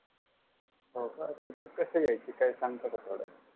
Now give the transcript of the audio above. होका तर ते कस घ्यायच काही सांगता का थोड